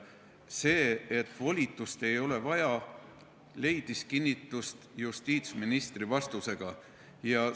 See, et volitust ei ole vaja, leidis justiitsministri vastusega kinnitust.